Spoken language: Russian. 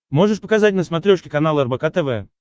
можешь показать на смотрешке канал рбк тв